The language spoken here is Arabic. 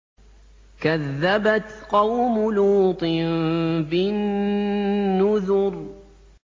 كَذَّبَتْ قَوْمُ لُوطٍ بِالنُّذُرِ